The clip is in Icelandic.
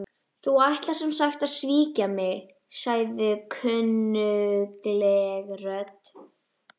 Þú ætlar sem sagt að svíkja mig- sagði kunnugleg rödd.